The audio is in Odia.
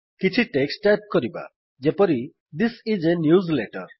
କିଛି ଟେକ୍ସଟ୍ ଟାଇପ କରିବା ଯେପରି ଥିସ୍ ଆଇଏସ a ନ୍ୟୁଜଲେଟର